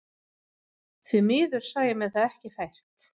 Því miður sá ég mér það ekki fært.